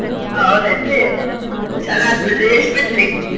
ಹಾ ಹೌದೇನ್ರೀ ಚಲೋ ಆತ್ ಬಿಡ್ರಿ ಎಷ್ಟ್ ಬಿತ್ರೀ?